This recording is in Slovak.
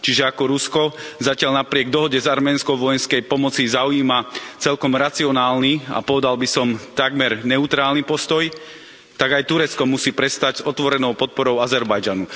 Čiže ako Rusko, zatiaľ napriek dohode s Arménskom o vojenskej pomoci zaujíma celkom racionálny, a povedal by som, takmer neutrálny postoj, tak aj Turecko musí prestať s otvorenou podporou Azerbajdžanu.